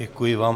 Děkuji vám.